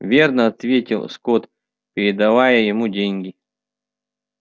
верно ответил скотт передавая ему деньги